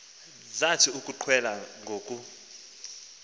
zathi ukuqwela ngoku